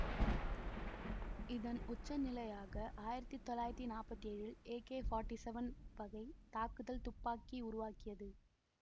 இதன் உச்சநிலையாக ஆயிரத்தி தொள்ளாயிரத்தி நாற்பத்தி ஏழு ல் ஏகே நாற்பத்தி ஏழு வகை தாக்குதல் துப்பாக்கி உருவாகியது